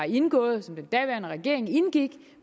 indgået som den daværende regering indgik